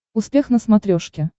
успех на смотрешке